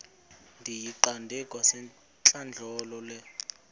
ndiyiqande kwasentlandlolo le